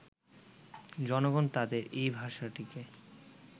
জনগণ তাঁদের এই ভাষাটিকে